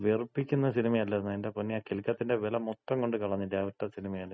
വെറുപ്പിക്കുന്ന സിനിമ അല്ലാരുന്ന? എന്‍റെ പൊന്നേ ആ കിലുക്കത്തിന്‍റെ വെല മൊത്തം കൊണ്ട് കളഞ്ഞില്ലേ ആ ഒറ്റ സിനിമയില്?